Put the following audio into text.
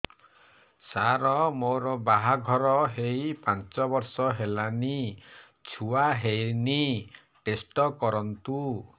ସାର ମୋର ବାହାଘର ହେଇ ପାଞ୍ଚ ବର୍ଷ ହେଲାନି ଛୁଆ ହେଇନି ଟେଷ୍ଟ କରନ୍ତୁ